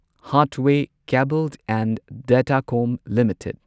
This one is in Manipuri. Hathway cable and Datacom limited